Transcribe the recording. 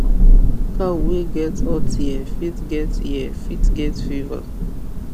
cow wey get hot ear fit get ear fit get fever